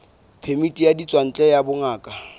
phemiti ya ditswantle ya bongaka